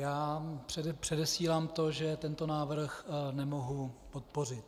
Já předesílám to, že tento návrh nemohu podpořit.